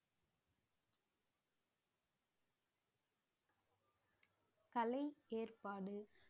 கலை ஏற்பாடு